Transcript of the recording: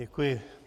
Děkuji.